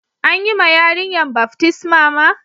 An yi ma yarinyan baftisma ma?